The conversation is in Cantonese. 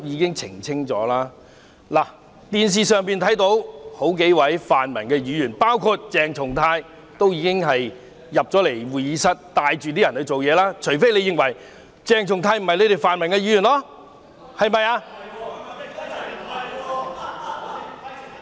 從電視可見，數位泛民議員——包括鄭松泰議員——帶領其他人進入會議廳"做嘢"，除非泛民議員認為鄭松泰議員並非他們一分子。